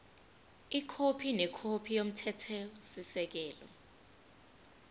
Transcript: ikhophi nekhophi yomthethosisekelo